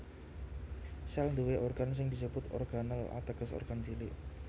Sèl nduwé organ sing disebut organel ateges organ cilik